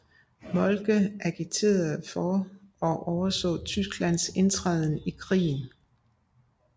Moltke agiterede for og overså Tysklands indtræden i krigen